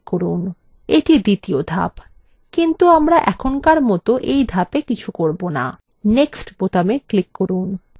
এটি দ্বিতীয় ধাপ কিন্তু আমরা এখনকার মত এই ধাপwe কিছু করব না next বোতামে click করুন